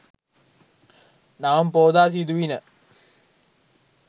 Navam Poya සිදුවිණ.